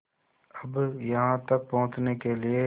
अब यहाँ तक पहुँचने के लिए